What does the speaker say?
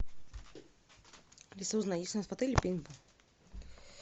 алиса узнай есть ли у нас в отеле пейнтбол